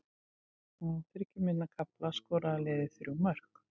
Á þriggja mínútna kafla skoraði liðið þrjú mörk.